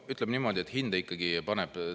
Ütleme niimoodi, et hinde ikkagi paneb.